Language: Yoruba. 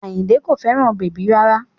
Àyìnkẹ́ kò fẹ́ràn bèbí rárá